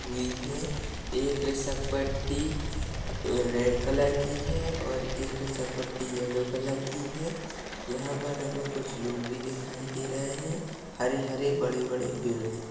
रुई है एक रुसकपट्टी रेड कलर की है और एक रुसकपट्टी येलो कलर की है यहाँ पर हमे कुछ लोग भी दिखाई दे रहे है हरे-हरे बड़े-बड़े पेड़ है।